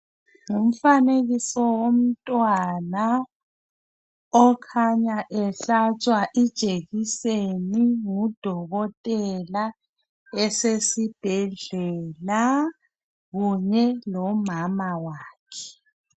Ngumfanekiso womtwana okhanya ehlatshwa ijekiseni ngudokotela esesibhedlela kunye lomama wakhe.